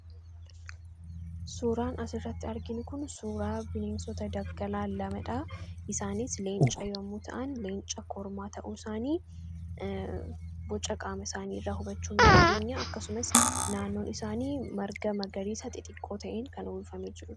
suuraan as irratti argin kun suuraa bineensota daggalaa lamadhaa isaanis leenca yommuu ta'an leenca kormaa ta'uu isaanii boca qaama isaanii irraa hubachuu dandeenya akkasumas naannoon isaanii marga magariisa xixiqqoo ta'in kan ulfamee jiru